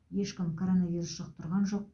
ешкім коронавирус жұқтырған жоқ